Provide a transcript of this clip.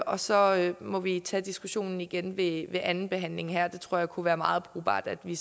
og så må vi tage diskussionen igen ved andenbehandlingen jeg tror at det kunne være meget brugbart at i